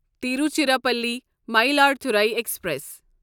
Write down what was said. Tiruchirappalli Mayiladuthurai express